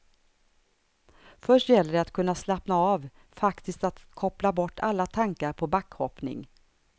Först gällde det att kunna slappna av, faktiskt att koppla bort alla tankar på backhoppning.